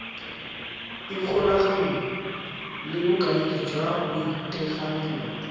ikgolaganye le bokaedi jwa boitekanelo